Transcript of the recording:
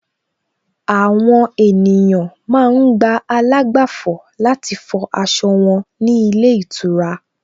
Àwọn ènìyàn ma ń gba àlágbàfọ̀ láti fọ aṣọ wọn ní ilé ìtura